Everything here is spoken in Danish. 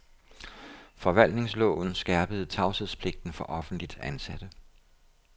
Forvaltningsloven skærpede tavshedspligten for offentligt ansatte.